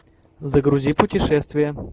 загрузи путешествия